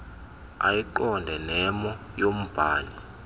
ayiqonde nemo yombhali